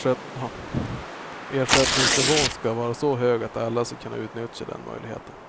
Ersättningsnivån ska vara så hög att alla ska kunna utnyttja den möjligheten.